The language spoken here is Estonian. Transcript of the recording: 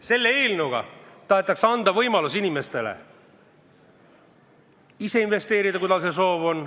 Selle eelnõuga tahetakse anda inimestele võimalus ise investeerida, kui neil see soov on.